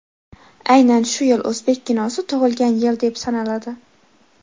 Aynan shu yil o‘zbek kinosi tug‘ilgan yil deb sanaladi.